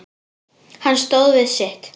Hann stóð við sitt.